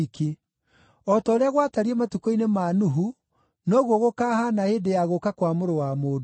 O ta ũrĩa gwatariĩ matukũ-inĩ ma Nuhu, noguo gũkahaana hĩndĩ ya gũũka kwa Mũrũ wa Mũndũ.